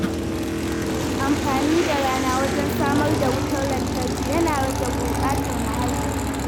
Amfani da rana wajen samar da wutar lantarki yana rage gurɓata muhalli.